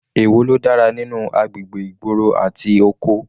Èwo ló dára nínú agbègbè ìgboro àti oko?